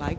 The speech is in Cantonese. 代理